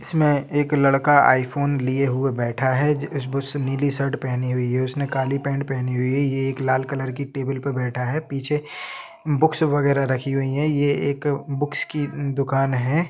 इसमें एक लड़का आई फ़ोन लिए हुए बैठा है उसने नीली शर्ट पहनी हुई हैउसने काली पेन्ट पहनी हुई है ये एक लाल कलर की टेबल पे बैठा है पीछे बुक्स वगेरा राखी हुई हैये एक बुक्स की दुकान है।